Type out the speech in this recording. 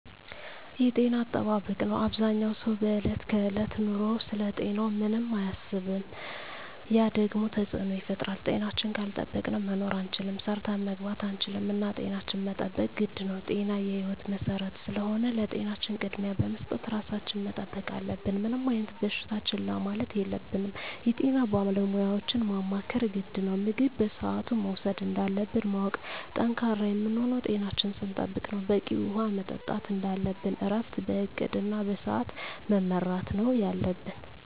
የጤና አጠባበቅ ነው አበዛኛው ሰው በዕለት ከዕለት ኑሮው ስለ ጤናው ምንም አያስብም ያ ደግሞ ተፅዕኖ ይፈጥራል። ጤናችን ካልጠበቅን መኖር አንችልም ሰርተን መግባት አንችልም እና ጤናችን መጠበቅ ግድ ነው ጤና የህይወት መሰረት ስለሆነ ለጤናችን ቅድሚያ በመስጠት ራሳችን መጠበቅ አለብን። ምንም አይነት በሽታ ችላ ማለት የለብንም የጤና ባለሙያዎችን ማማከር ግድ ነው። ምግብ በስአቱ መውሰድ እንዳለብን ማወቅ። ጠንካራ የምንሆነው ጤናችን ስንጠብቅ ነው በቂ ውሀ መጠጣት እንደለብን እረፍት በእቅድ እና በስዐት መመራት ነው የለብን